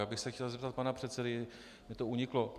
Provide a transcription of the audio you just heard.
Já bych se chtěl zeptat pana předsedy, mně to uniklo.